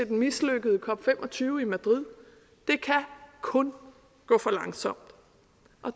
den mislykkede cop fem og tyve i madrid det kan kun gå for langsomt